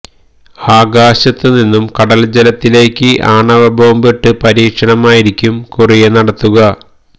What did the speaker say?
ആകാശത്തുനിന്നും കടൽ ജലത്തിലേക്ക് ആണവ ബോംബ് ഇട്ട് പരീക്ഷണം ആയിരിക്കും കൊറിയ നടത്തുക